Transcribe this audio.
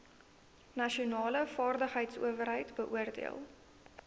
nasionale vaardigheidsowerheid beoordeel